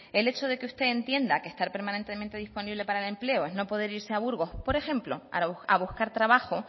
el hecho de que usted entienda que estar permanentemente disponible para el empleo es no poder irse a burgos por ejemplo a buscar trabajo